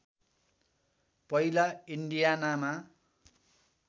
पहिला इन्डियानामा